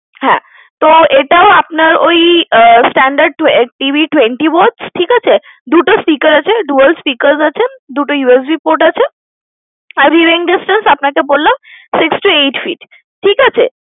হ্যা তো এটাও আপনার ওই standard TV twenty । ঠিকাছে দুটো speaker আছে dual speakers আছে দুটো USB Port আছে আর space আপনাকে বললাম Six to eight feet ঠিকাছে?